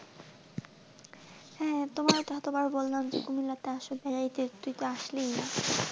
হ্যাঁ তোমায় কত বার বললাম আসো, বেড়াতেই তুমি তো আসলেই না.